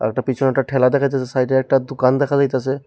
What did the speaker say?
পিছনে একটা ঠেলা দেখা যাইতেসে সাইডে একটা দুকান দেখা যাইতেসে।